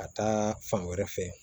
Ka taa fan wɛrɛ fɛ